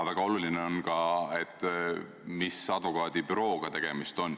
Väga oluline on seegi, mis advokaadibürooga on tegemist.